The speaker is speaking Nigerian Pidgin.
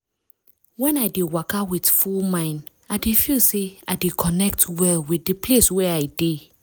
when i dey waka with full mind i dey feel say i dey connect well with de place wey i dey.